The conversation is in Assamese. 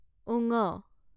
ঙ